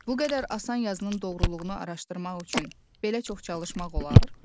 Bu qədər asan yazının doğruluğunu araşdırmaq üçün belə çox çalışmaq olar?